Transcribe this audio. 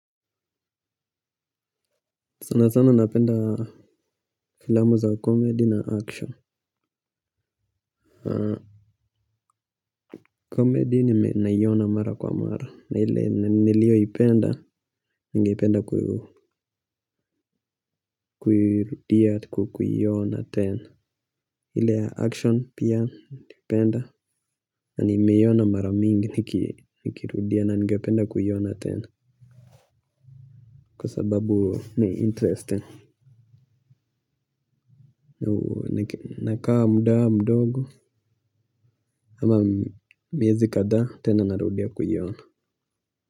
Sana sana napenda filamu za comedy na action. Comedy naiona mara kwa mara. Ile niliyoipenda, ningependa kuiona kuirudia hata kwa kuiona tena. Ile ya action pia naipenda, na nimeiona mara mingi nikirudia na ningependa kuiona tena. Kwa sababu ni interesting. Nakaa muda mdogo, ama miezi kadhaa tena narudia kuiona.